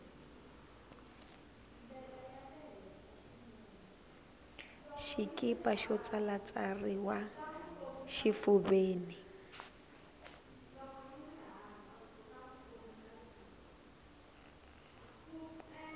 xikipa xo tsalatsariwa xifuveni